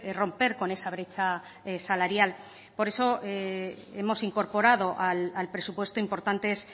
romper con esa brecha salarial por eso hemos incorporado al presupuesto importantes